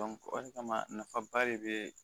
o de kama nafa ba de bɛ